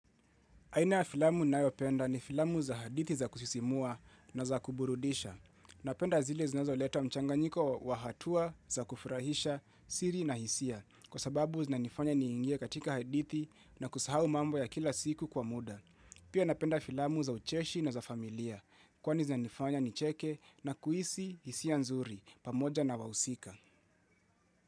Aina ya filamu ninayopenda ni filamu za hadithi za kusisimua na za kuburudisha. Napenda zile zinazoleta mchanganyiko wa hatua za kufurahisha siri na hisia. Kwa sababu zinanifanya niingie katika hadithi na kusahau mambo ya kila siku kwa muda. Pia napenda filamu za ucheshi na za familia. Kwani zinanifanya nicheke na kuhisi hisia nzuri pamoja na wahusika.